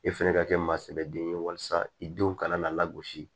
E fɛnɛ ka kɛ maa sɛbɛden ye walasa i denw kana na lagosi